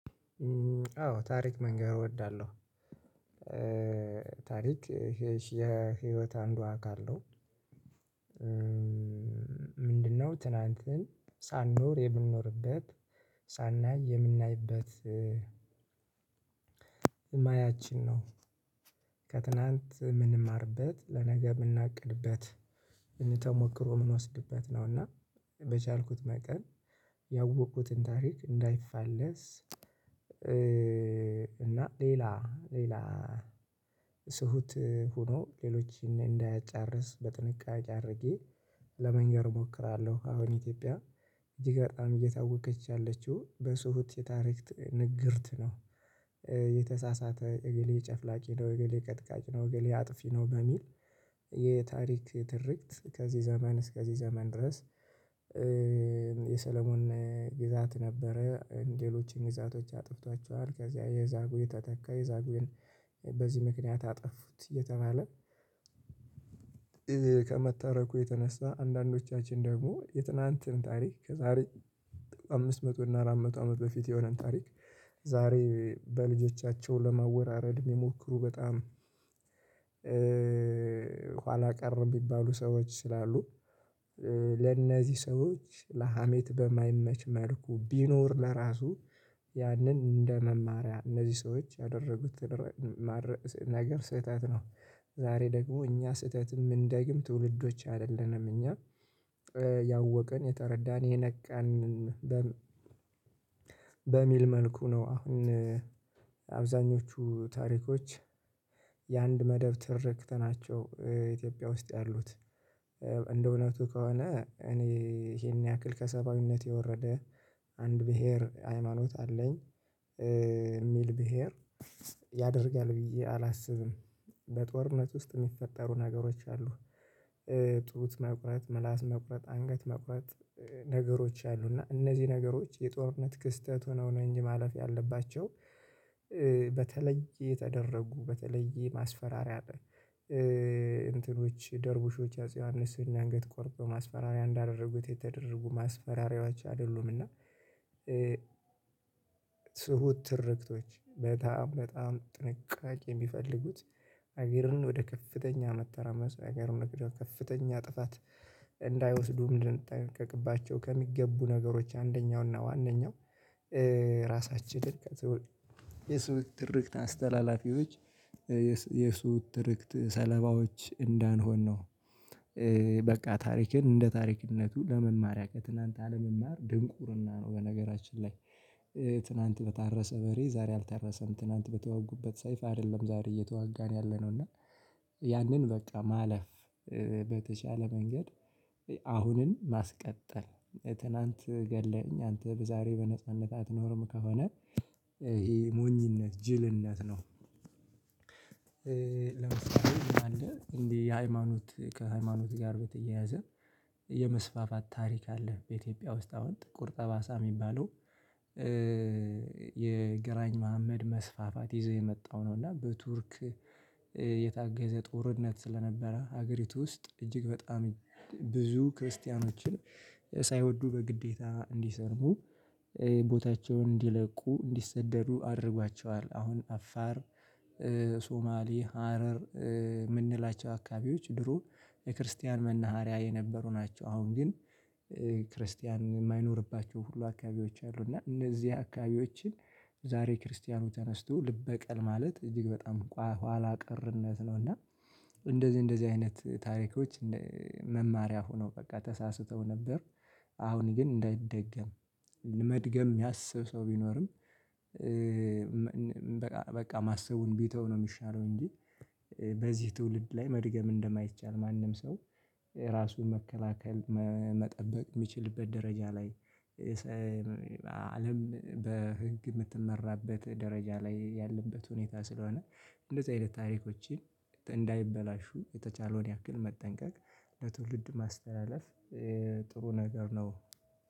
አዎ ታሪክ መንገር እወዳለሁ። ታሪክ የህይወት አንዷ አካል አካል ነው። ምንድነው ትናንትን ሳንኖር የምንኖርበት ሳናይ የምናይበት። ማያችን ነው። ከትላንት ምንማርበት ለነገ የምናቅድበት ተሞክሮ የምንወስድበት ነው። እና በቻልኩት መጠን ያወቅኩትን ታሪክ እንዳይፋለስ እና ሌላ ሌላ ትሁት ሆኖ ሌሎችን እንዳያጫርስ በጥንቃቄ አድርጌ ለመንገር እሞክራለሁ። አሁን ኢትዮጵያ እጅግ በጣም እየታወቀች ያለችው በሱሁት የታሪክ ንግርት ነው። የተሳሳተ እገሌ ጨፍላቂ ነው እግሌ ቀጥቃጭ ነው እግሌ አጥፊ ነው በሚል የታሪክ ትርክት ከዚህ ዘመን እስከዚህ ዘመን ድረስ። የሰለሞን ግዛት ነበረ ሌሎችን ግዛቶች አጥፍቷቸዋል ከዚያ የዛግዌ ተተካ የዛጉዌን በዚህ ምክንያት አጠፉት እየተባለ። ከመተረኩ የተነሳ አንዳንዶቻችን ደግሞ የትናንትን ታሪክ ከዛሬ አምስት መቶ እና አራት መቶ አመት በፊት የሆነን ታሪክ ዛሬ በልጆቻቸው ለማወራረድ የሚሞክሩ በጣም። ኋላ ቀር የሚባሉ ሰዎች ስላሉ ለነዚህ ሰዎች ለሀሜት በማይመች መልኩ ቢኖር ለራሱ ያንን እንደ መማሪያ እነዚህ ሰዎች ያደረጉት ነገር ስህተት ነው። ዛሬ ደግሞ እኛ ስህተትም ማንደግም ትውልዶች አይደለንም እኛ ያወቅን የተረዳን የነቃን በሚል መልኩ ነው። አሁን አብዛኞቹ ታሪኮች የአንድ መደብ ትርክት ናቸው። ኢትዮጵያ ውስጥ ያሉት እንደ እውነቱ ከሆነ እኔ ይሄን ያክል ከሰባዊነት የወረደ አንድ ብሄር ሃይማኖት አለኝ የሚል ብሄር ያደርጋል ብዬ አላስብም። በጦርነት ውስጥ የሚፈጠሩ ነገሮች አሉ። ጡት መቁረጥ ምላስ መቁረጥ አንገት መቁረጥ ነገሮች አሉ እና እነዚህ ነገሮች የጦርነት ክስተት ሆነው ነው እንጂ ማለፍ ያለባቸው። በተለየ ተደረጉ በተለየ ማስፈራሪያ እንትኖች ደርቡሾች አጼ ዮሐንስን አንግት ቆርጠው ማስፈራሪያ እንዳደረጉት የተደረጉ ማስፈራሪያዎች አይደሉም። እና ትሁት ትርክቶች በጣም በጣም ጥንቃቄ የሚፈልጉት ሀገርን ወደ ከፍተኛ መተራመስ ሀገር መክደው ከፍተኛ ጥፋት እንዳይወስዱ ምን እንድንጠነቀቅባቸው ከሚገቡ ነገሮች አንደኛው እና ዋነኛው ራሳችንን የሱ ትርክት አስተላላፊዎች የሱ ትርክት ሰለባዎች እንዳንሆን ነው። በቃ ታሪክን እንደ ታሪክነቱ ለመማሪያ ከትላንት አለመማር ድንቁርና ነው። በነገራችን ላይ ትላንት በታረሰ በሬ ዛሬ አልተረሰም ትላንት በተዋጉበት ሰይፍ አይደለም ዛሬ እየተዋጋን ያለነው እና ያንን በቃ ማለፍ በተቻለ መንገድ አሁንን ማስቀጠል ትናንት ገለኝ አንተ በዛሬ በነጻነት አትኖርም ከሆነ ይሄ ሞኝነት ጅልነት ነው። ለምሳሌ ምንአለ እንዲህ የሃይማኖት ከሃይማኖት ጋር በተያያዘ የመስፋፋት ታሪክ አለ በኢትዮጵያ ውስጥ አሁን ጥቁር ጠባሳ የሚባለው የግራኝ መሀመድ መስፋፋት ይዞ የመጣው ነው። እና በቱርክ የታገዘ ጦርነት ስለነበረ ሀገሪቱ ውስጥ እጅግ በጣም ብዙ ክርስቲያኖችን ሳይወዱ በግዴታ እንዲሰርቡ ቦታቸውን እንዲለቁ እንዲሰደዱ አድርጓቸዋል። አሁን አፋር ሶማሊ ሀረር የምንላቸው አካባቢዎች ድሮ የክርስቲያን መናሃሪያ የነበሩ ናቸው። አሁን ግን ክርስቲያን የማይኖርባቸው ሁሉ አካባቢዎች አሉ እና እነዚህ አካባቢዎችን ዛሬ ክርስቲያኑ ተነስቶ ልበቀል ማለት እጅግ በጣም ኋላ ቀርነት ነው። እና እንደዚህ እንደዚህ አይነት ታሪኮች መማሪያ ሆኖ በቃ ተሳስተው ነበር። አሁን ግን እንዳይደገም መድገም የሚያስብ ሰው ቢኖርም በቃ በቃ ማሰቡን ቢተው ነው የሚሻለው እንጂ። በዚህ ትውልድ ላይ መድገም እንደማይቻል ማንም ሰው ራሱን መከላከል መጠበቅ የሚችልበት ደረጃ ላይ አለም በህግ የምትመራበት ደረጃ ላይ ያለበት ሁኔታ ስለሆነ እንደዚህ አይነት ታሪኮችን እንዳይበላሹ የተቻለውን ያክል መጠንቀቅ ለትውልድ ማስተላለፍ ጥሩ ነገር ነው።